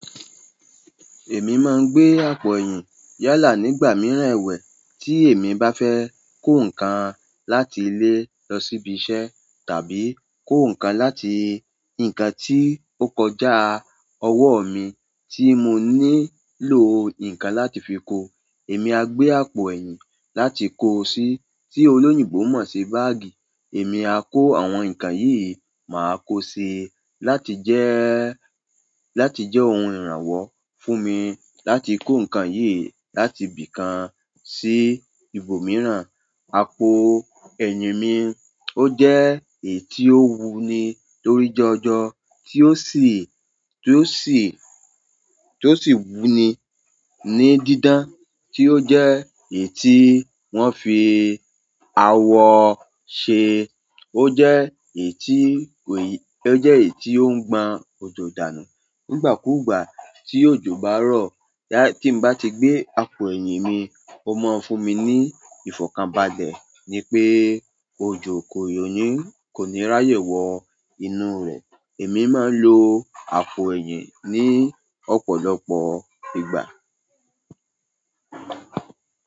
Èmi máa ń gbé àpò ẹ̀yìn yálà nígbà mìíràn ẹ̀wẹ̀ tí èmi bá fẹ́ kó nǹkan láti ilé lọ síbi iṣẹ́ tàbí kó nǹkan láti ǹkan tí ó kọjá ọwọ́ mi tí mo nílò nǹkan láti fi kó. Èmi á gbé àpò ẹ̀yìn láti kó o sí tí olóyìnbo mọ̀ sí báágì. Emi a ko àwọn nkan yìí maa ko sii láti je ohun ìrànwọ́ fún mi láti ko nkan yìí láti ibi kan si ibo miran. Àpò ẹ̀yìn mi ó jẹ́ èyí tí ó wuni lórí janjan tí ó sì, tí ó sì wuni ní dídán, tí ó jẹ́ èyí tí wọ́n fi awọ ṣe. Ó jẹ́ èyí tí kò yí, ó jẹ́ èyí tí ó ń gban òjò dànù. Nígbà kúùgbà tí òjò bá rọ̀, tí mo bá ti gbé àpò ẹ̀yìn mi, ó máa ń fún mi ní ìfọ̀kànbalẹ̀ ni pé òjò kò ní, kò ní ráyè wọ inú rẹ̀. Èmi máa ń lo àpò ẹ̀yìn ní ọ̀pọ̀lọpọ̀ ìgbà.